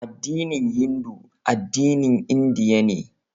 Addinin Hindu addinin Indiya ne